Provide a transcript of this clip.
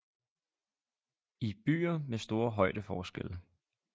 I byer med store højdeforskelle